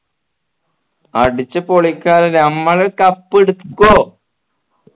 അടിച് പൊളിക്കാന്ന് നമ്മൾ cup എടുക്കുവോ